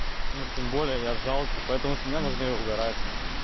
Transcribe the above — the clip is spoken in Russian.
ну тем более я жалкий поэтому с меня нужно и угорать